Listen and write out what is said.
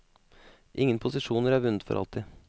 Ingen posisjoner er vunnet for alltid.